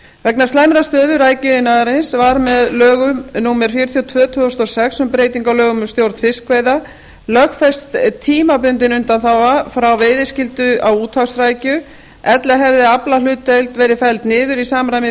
vegna slæmrar stöðu rækjuiðnaðarins var með lögum númer fjörutíu og tvö tvö þúsund og sex um breytingu á lögum um stjórn fiskveiða lögfest tímabundin undanþága frá veiðiskyldu á úthafsrækju ella hefði aflahlutdeild verið felld niður í samræmi